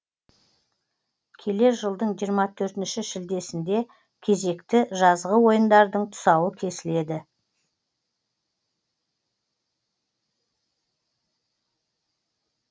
келер жылдың жиырма төртінші шілдесінде кезекті жазғы ойындардың тұсауы кесіледі